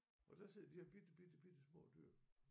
Og der sidder de her bitte bitte bittesmå dyr